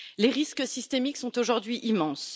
Les risques systémiques sont aujourd'hui immenses.